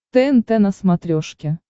тнт на смотрешке